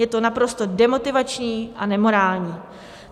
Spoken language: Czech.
Je to naprosto demotivační a nemorální.